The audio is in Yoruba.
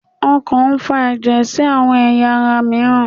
okàn n fa eje sí awọn eyá ará miiran